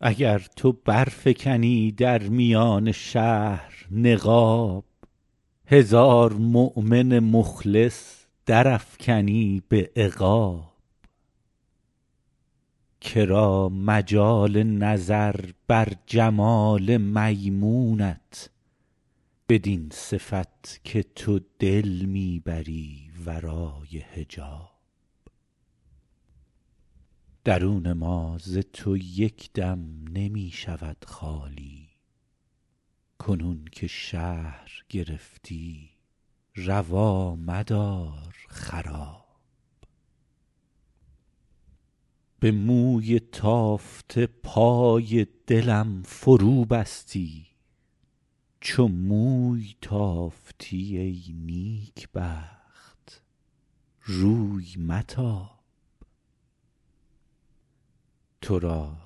اگر تو برفکنی در میان شهر نقاب هزار مؤمن مخلص درافکنی به عقاب که را مجال نظر بر جمال میمونت بدین صفت که تو دل می بری ورای حجاب درون ما ز تو یک دم نمی شود خالی کنون که شهر گرفتی روا مدار خراب به موی تافته پای دلم فروبستی چو موی تافتی ای نیکبخت روی متاب تو را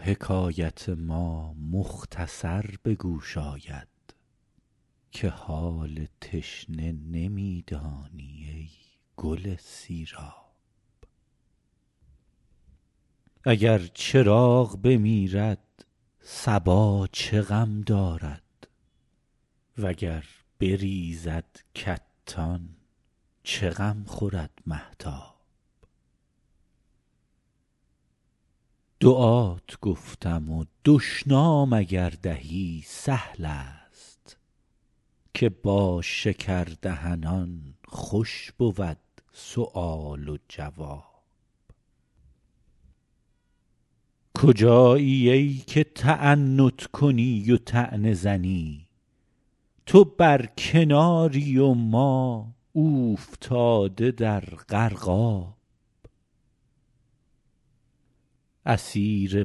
حکایت ما مختصر به گوش آید که حال تشنه نمی دانی ای گل سیراب اگر چراغ بمیرد صبا چه غم دارد و گر بریزد کتان چه غم خورد مهتاب دعات گفتم و دشنام اگر دهی سهل است که با شکردهنان خوش بود سؤال و جواب کجایی ای که تعنت کنی و طعنه زنی تو بر کناری و ما اوفتاده در غرقاب اسیر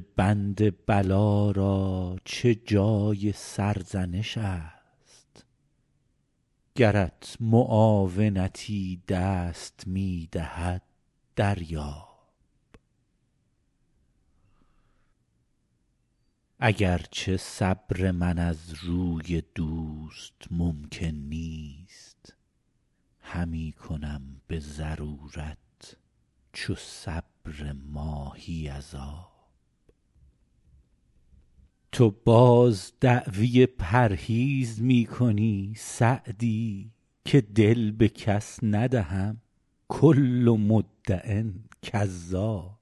بند بلا را چه جای سرزنش است گرت معاونتی دست می دهد دریاب اگر چه صبر من از روی دوست ممکن نیست همی کنم به ضرورت چو صبر ماهی از آب تو باز دعوی پرهیز می کنی سعدی که دل به کس ندهم کل مدع کذاب